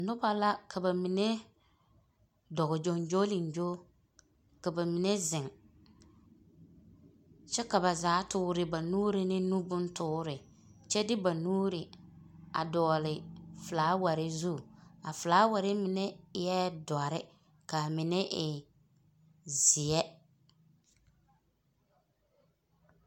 Noba la ka ba mine, dɔg gyoŋgyoliŋgyo, ka bamine zeŋ. Kyɛ ka ba zaa toore ba nuuri ne bontoore kyɛ ba nuuri, a dɔgele felaaware zu, a felaaware mine eɛ dɔre, kaa mine e zeɛ.